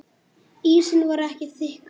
Ísinn var ekki þykkur.